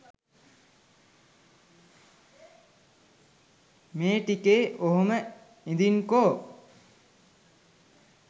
මේ ටිකේ ඔහොම ඉදින්කො